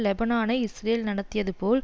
லெபனானை Israel நடத்தியது போல்